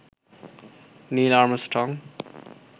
Neil Armstrong